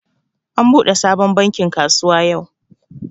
An buɗe sabon bankin kasuwa yau